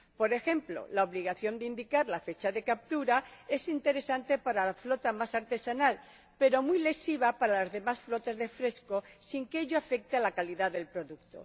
Por ejemplo, la obligación de indicar la fecha de captura es interesante para la flota más artesanal, pero muy lesiva para las demás flotas de fresco, sin que ello afecte a la calidad del producto.